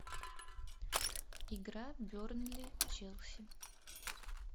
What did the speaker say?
игра бернли челси